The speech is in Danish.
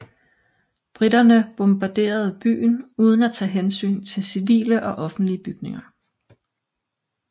Briterne bombarderede byen uden at tage hensyn til civile og offentlige bygninger